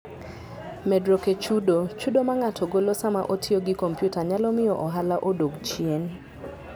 Medruok e Chudo: Chudo ma ng'ato golo sama otiyo gi kompyuta nyalo miyo ohala odog chien.